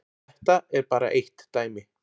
Þetta er bara eitt dæmi.